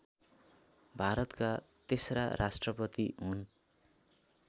भारतका तेस्रा राष्ट्रपति हुन्